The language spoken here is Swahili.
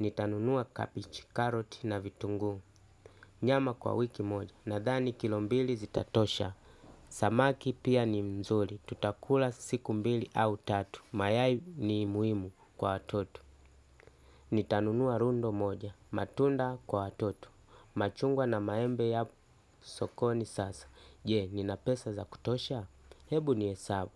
Nitanunua kabeji, karoti na vitunguu. Nyama kwa wiki moja. Nadhani kilombili zitatosha. Samaki pia ni mzuri, tutakula siku mbili au tatu, mayai ni muhimu kwa watoto. Nitanunua rundo moja, matunda kwa watoto. Machungwa na maembe yako sokoni sasa. Je, nina pesa za kutosha? Hebu ni hesabu.